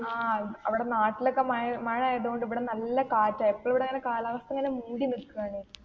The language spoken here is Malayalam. ആ അഹ് അവിടെ നാട്ടിലൊക്കെ മഴ മഴയതുകൊണ്ട് ഇവിടെ നല്ല കാറ്റാ എപ്പോളും ഇവിടെ ഇങ്ങനെ കാലാവസ്ഥാ